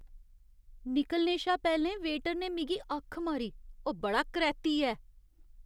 निकलने शा पैह्लें वेटर ने मिगी अक्ख मारी । ओह् बड़ा करैह्ती ऐ।